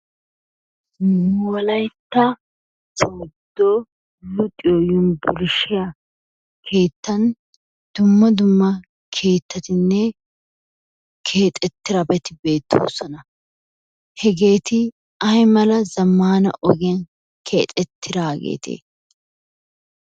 Nu wolaytta sooddo luxiyoo yunburshshiya keettan dumma dumma kettattinne keexettidabati beettosona hegeeti ay mala zamanna ogiyaani keexettidagete?